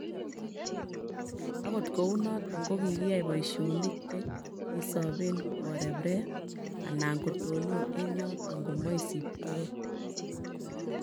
Agot kounoton kogiyai boisionik che kisoben koreb reb alan kotonon en yoton komoisiptogee